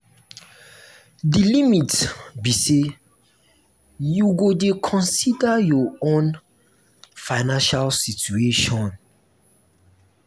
di limit be say you go dey consider your own financial situation.